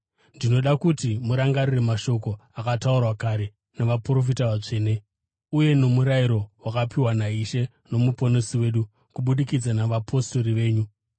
Ndinoda kuti murangarire mashoko akataurwa kare navaprofita vatsvene uye nomurayiro wakapiwa naIshe noMuponesi wedu kubudikidza navapostori venyu.